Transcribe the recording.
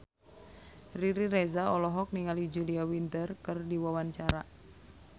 Riri Reza olohok ningali Julia Winter keur diwawancara